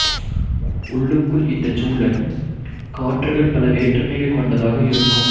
உள்ளுக்குள் இந்தச் சுழல் காற்றுகள் பல வேற்றுமைகள் கொண்டதாக இருக்கும்